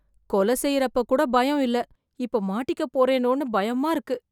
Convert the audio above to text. கொலை செய்ற அப்போ கூட பயம் இல்லை, இப்ப மாட்டிக்க போறனோன்னு பயமா இருக்கு